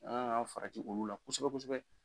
An kan ka farati olu la kosɛbɛ kosɛbɛ